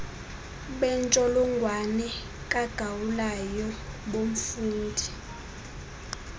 bentsholongwane kagaulayo bomfundi